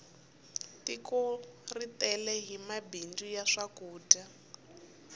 tiko ri tele hi mabindzu ya swakudya